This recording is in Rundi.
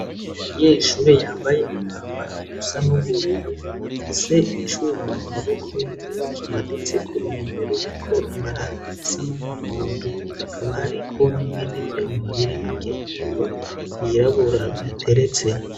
Umunyeshure yambaye umwambaro usa n'ubururu afise icuma mu maboko yiwe kimaditse ku ruhome ruriko amarangi asa n'umuhondo, hakaba hariko n'ibindi vyuma biri hirya yiwe vyirabura bihateretse.